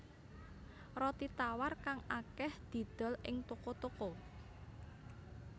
Roti tawar kang akèh didol ing toko toko